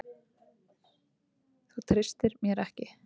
Þú treystir mér ekki!